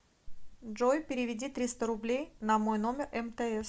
джой переведи триста рублей на мой номер мтс